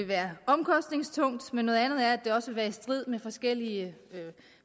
være omkostningstungt men noget andet er at det også vil være i strid med forskellige